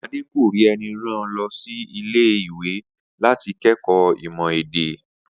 Adé kò rí e̩ni ran o lo̩ sí ilé-ìwé láti ké̩kòó ímò̩ èdè